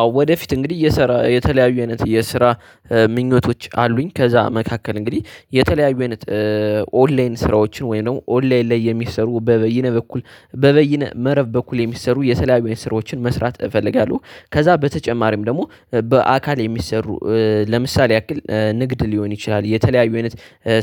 አዎ ወደፊት እንግዲህ እየሰራ የተለያዩ አይነት የስራ ምኞቶች አሉኝ። ከዛ መካከል እንግዲህ የተለያዩ አይነት ኦንላይን ስራዎችን ወይም ደግሞ ኦንላይን ላይ የሚሰሩ በበይነ በኩል በበይነ መረብ በኩል የሚሰሩ የተለያዩ አይነት ስራዎችን መስራት እፈልጋለሁ። ከዛ በተጨማሪም ደግሞ በአካል የሚሰሩ ለምሳሌ ያክል ንግድ ሊሆን ይችላል የተለያዩ አይነት